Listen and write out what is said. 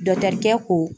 Dɔkitɛrikɛ ko